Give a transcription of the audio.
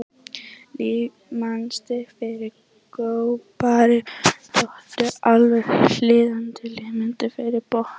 Litamynstur fyrir grábotnóttu er alveg hliðstætt litamynstri fyrir botnóttu.